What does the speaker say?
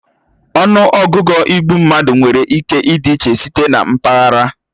Ọnụọgụgụ igbu mmadụ nwere ike ịdị iche site na mpaghara